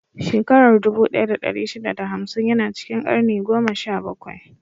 Shakarar dubu ɗaya da ɗari shida da hamsin ya na cikin karni goma sha bakwai.